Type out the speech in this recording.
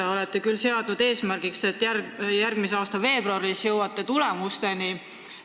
Te olete seadnud eesmärgiks, et järgmise aasta veebruaris jõuate tulemusteni.